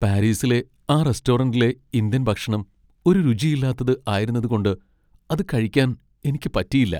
പാരീസിലെ ആ റെസ്റ്റോറന്റിലെ ഇന്ത്യൻ ഭക്ഷണം ഒരു രുചിയില്ലാത്തത് ആയിരുന്നതുകൊണ്ട് അത് കഴിക്കാൻ എനിക്ക് പറ്റിയില്ല.